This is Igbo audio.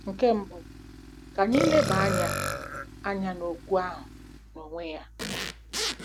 Nke mbụ, ka anyị leba anya anya n'okwu ahụ n'onwe ya.